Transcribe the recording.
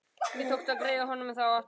Mér tókst að greiða honum þá aftur.